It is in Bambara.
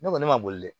Ne kɔni ne ma boli dɛ